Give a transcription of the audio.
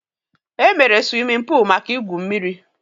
E meere siwimin pul maka ị gwụ mmiri